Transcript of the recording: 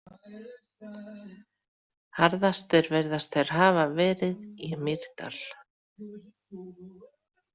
Harðastir virðast þeir hafa verið í Mýrdal.